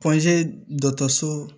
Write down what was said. dɔkɔso